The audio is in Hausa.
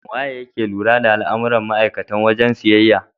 Waye yake lura da al'amuran ma'aikatan wajen siyayya?